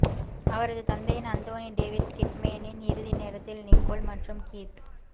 அவரது தந்தையின் அந்தோனி டேவிட் கிட்மேனின் இறுதி நேரத்தில் நிக்கோல் மற்றும் கீத்